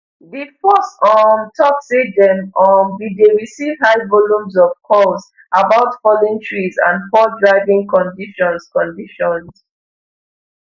di force um tok say dem um bin dey receive high volumes of calls about fallen trees and poor driving conditions conditions